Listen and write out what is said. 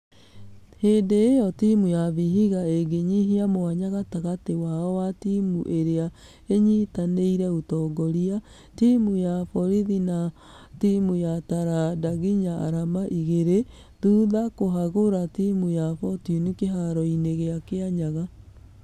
Hĩndĩ ĩyo timũ ya vihiga ĩgĩnyihia mwanya gatagatĩ wao na timũ iria inyitanĩire ũtongoria ,timũ ya borighi na timũ ya taranda , nginya arama igĩrĩ. Thutha kũhagũra timũ ya fortune kĩharo-inĩ gĩa kianyaga.